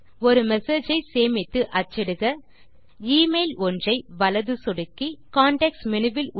ஒரு மெசேஜ் ஐ சேமித்து அச்சிடுக எமெயில் ஒன்றை வலது சொடுக்கி கான்டெக்ஸ்ட் மேனு வில்